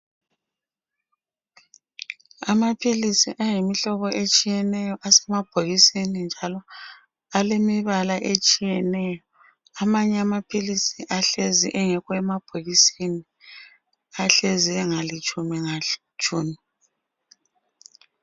Amaphilisi ayimihlobo atshiyeneyo asemabhokisini, njalo aleimibala etshiyeneyo. Amanye amaphilisi ahlezi engekho emabhokisini. Ahlezi engalitshumi ngalitshumi.